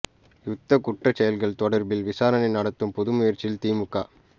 யுத்தக் குற்றச் செயல்கள் தொடர்பில் விசாரணை நடத்தும் புது முயற்சியில் திமுக